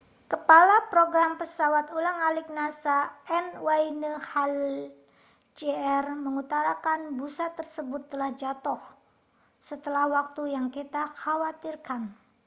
kepala program pesawat ulang-alik nasa n wayne hale jr mengutarakan busa tersebut telah jatuh setelah waktu yang kita khawatirkan